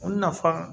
O nafa